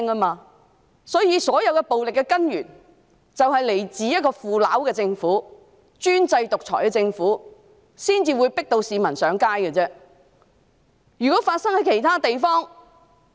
因此，所有暴力行為均源於一個腐朽和專制獨裁的政府，市民才會被迫上街。